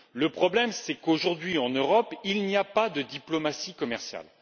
Le problème est qu'aujourd'hui, en Europe, il n'y a pas de diplomatie commerciale.